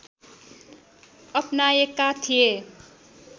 अपनाएका थिए